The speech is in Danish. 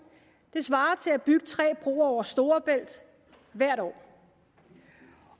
svarer til at bygge tre broer over storebælt hvert år